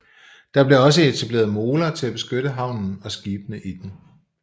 Der blev også etableret moler til at beskytte havnen og skibene i den